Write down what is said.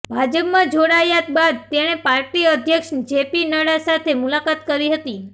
ભાજપમાં જોડાયા બાદ તેણે પાર્ટી અધ્યક્ષ જેપી નડ્ડા સાથે મુલાકાત કરી હતી